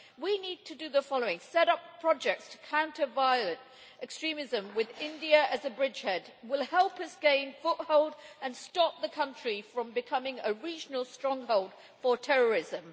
We need to do the following set up projects to counter violent extremism, with India as a bridgehead, which will help us gain a foothold and stop the country from becoming a regional stronghold for terrorism.